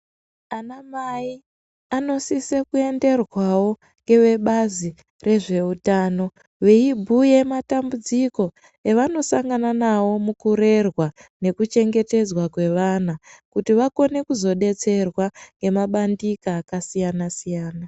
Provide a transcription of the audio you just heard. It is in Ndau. Anamai anosise kuenderwawo ngevebazi rezveutano veibhuya matambudziko evanosangana nawo mukurerwa nekuchengetedzwa kwevana kuti vakone kuzodetserwa ngemabandika akasiyana siyana.